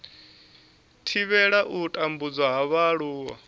thivhela u tambudzwa ha vhaaluwa